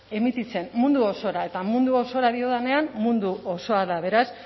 emititzen mundu osora eta mundu osora diodanean mundu osoa da beraz